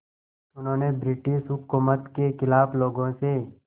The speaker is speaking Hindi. उन्होंने ब्रिटिश हुकूमत के ख़िलाफ़ लोगों से